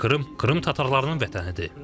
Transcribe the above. Çünki Krım Krım tatarlarının vətənidir.